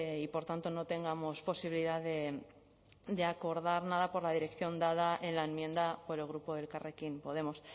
y por tanto no tengamos posibilidad de acordar nada por la dirección dada en la enmienda por el grupo elkarrekin podemos